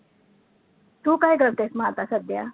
तु काय करतेस मग आता सध्या?